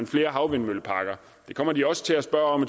flere havvindmølleparker det kommer de også til at spørge om